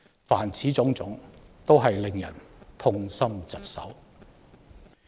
凡此種種，均令人痛心疾首。